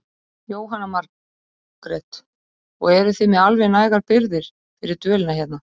Jóhanna Margrét: og eruð þið með alveg nægar birgðir fyrir dvölina hérna?